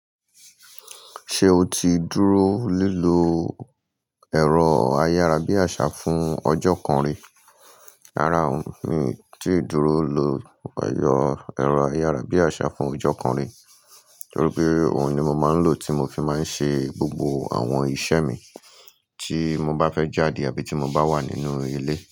Ṣé o ti dúró lílọ ẹ̀rọ ayárabíàṣá fún ọjọ́ kan rí? Rárá, mi ò tíì dúró lọ ẹ̀rọ ayárabíàṣá fún ọjọ́ kan rí. Torí pé, òun ni mo máa ń lò tí mo fi máa ń ṣe gbogbo àwọn iṣẹ́ mi. Tí mo bá fẹ́ jáde àbí tí mo bá wà nínú ilé.